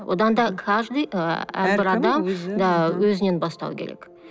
одан да каждый ы әрбір адам өзінен бастау керек